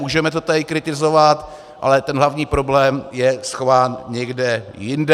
Můžeme to tady kritizovat, ale ten hlavní problém je schován někde jinde.